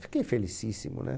Fiquei felicíssimo, né?